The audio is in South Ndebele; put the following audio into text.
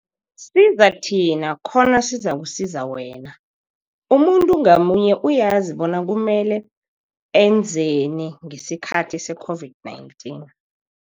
Siza thina khona sizakusiza wena. Umuntu ngamunye uyazi bona kumele enzeni ngesikhathi seCOVID-19.